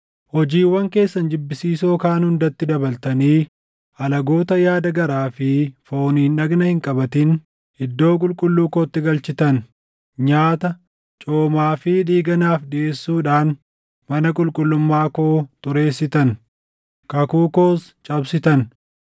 Hojiiwwan keessan jibbisiisoo kaan hundatti dabaltanii alagoota yaada garaa fi fooniin dhagna hin qabatin iddoo qulqulluu kootti galchitan; nyaata, coomaa fi dhiiga naaf dhiʼeessuudhaan mana qulqullummaa koo xureessitan; kakuu koos cabsitan.